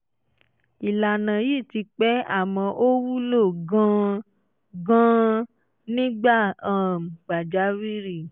ìlànà yìí ti pẹ́ àmọ́ ó wúlò gan-an gan-an nígbà um pàjáwìrì